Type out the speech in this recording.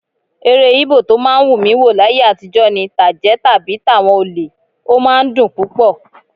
Eré Íbò tó máa ń wù mí wò láyé àtijọ́ ni tàjẹ́ tàbí tàwọn olè; ó máa ń dùn púpọ̀